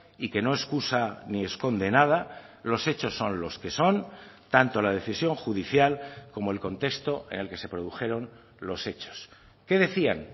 y que no excusa ni esconde nada los hechos son los que son tanto la decisión judicial como el contexto en el que se produjeron los hechos qué decían